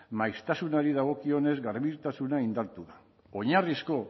maiztasunari dagokionez garbitasuna indartu oinarrizko